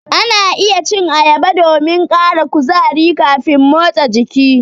Ana iya cin ayaba domin ƙara kuzari kafin motsa jiki.